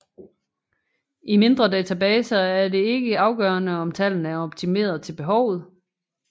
I mindre databaser er det ikke afgørende om tallene er optimeret til behovet